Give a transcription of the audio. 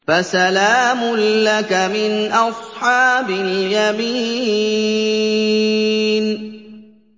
فَسَلَامٌ لَّكَ مِنْ أَصْحَابِ الْيَمِينِ